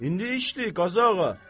İndi işdir Qazı ağa.